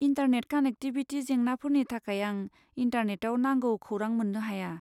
Internet connectivity जेंनाफोरनि थाखाय आं इन्टारनेटाव नांगौ खौरां मोन्नो हाया।